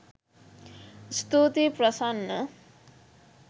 ස්තුතියි ප්‍රසන්න